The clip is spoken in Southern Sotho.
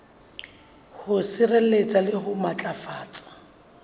ho sireletsa le ho matlafatsa